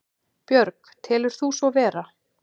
Björg: Telur þú svo vera?